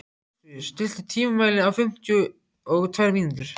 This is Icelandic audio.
Ástfríður, stilltu tímamælinn á fimmtíu og tvær mínútur.